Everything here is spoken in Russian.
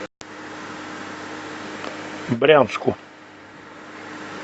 брянску